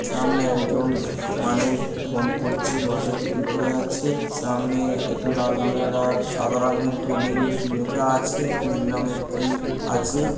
সামনে একজন মানুষ ফোন করছে মাথায় টুপি পরে আছে সামনে একটা লাল রংয়ের আর সাদা রঙের হোর্ডিং কি লেখা আছে নীল রংয়ের কি আছে।